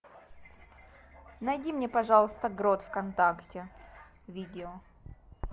найди мне пожалуйста грот вконтакте видео